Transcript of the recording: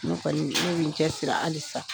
Ne kɔni , ne bi n cɛ siri halisa .